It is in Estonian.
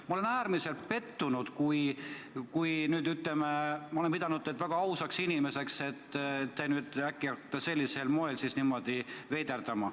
Ma olen äärmiselt pettunud – ma olen pidanud teid väga ausaks inimeseks –, et te nüüd äkki hakkate sellisel moel veiderdama.